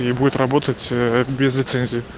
и будет работать ээ без лицензии